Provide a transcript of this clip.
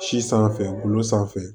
Si sanfɛ golo sanfɛ